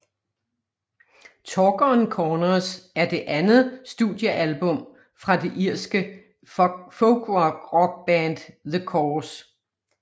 Talk on Corners er det andet studiealbum fra det irske folkrockband The Corrs